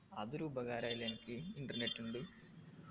അതൊരുപകാരായി ല്ല അനക്ക് internet കൊണ്ട്